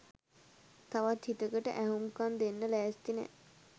තවත් හිතකට ඇහුම්කන් දෙන්න ලෑස්ති නෑ.